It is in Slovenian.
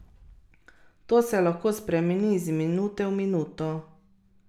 To se lahko spremeni iz minute v minuto.